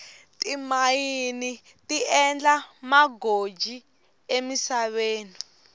timayini ti endla magoji emisaveni